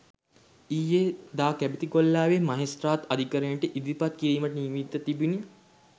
ඊයේ දා කැබිතිගොල්ලෑව මහෙස්ත්‍රාත් අධිකරණයට ඉදිරිපත් කිරීමට නියමිතව තිබිණි